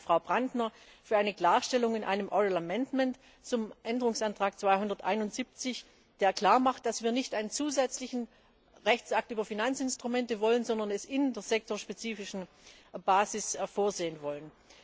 Ich danke Frau Brantner für eine Klarstellung in einem mündlichen Änderungsantrag zum Änderungsantrag 271, der klarmacht, dass wir nicht einen zusätzlichen Rechtsakt über Finanzinstrumente wollen, sondern es in der sektorspezifischen Basis vorsehen wollen.